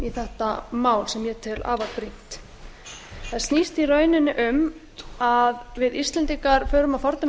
í þetta mál sem ég tel afar brýnt það snýst í rauninni um að við íslendingar förum að fordæmi